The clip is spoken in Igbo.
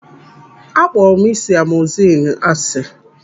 Akpọrọ m ị́sị̀ amogusilinu ásị.